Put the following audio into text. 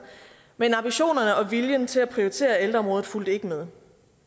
men at ambitionerne og viljen til at prioritere ældreområdet ikke fulgte med